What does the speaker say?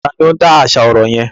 Ta ni ó ń dáṣà ọ̀rọ̀ yẹn?